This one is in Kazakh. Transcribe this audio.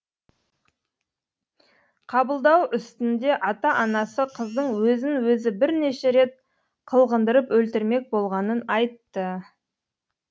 қабылдау үстінде ата анасы қыздың өзін өзі бірнеше рет қылғындырып өлтірмек болғанын айтты